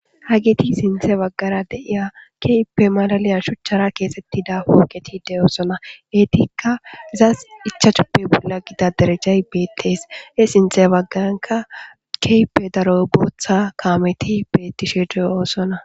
Ha giti sinthe baggara deiya keyppe malaliya shuchchara keesettida woogetide oosona etikka zas ichahuppe bolla gida derejjay beettees he sinthe baggaranka keyppe daro booththa kaameti bettishe de'osona